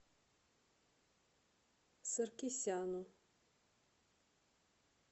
саркисяну